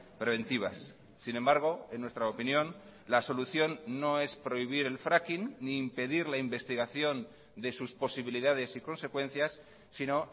preventivas sin embargo en nuestra opinión la solución no es prohibir el fracking ni impedir la investigación de sus posibilidades y consecuencias sino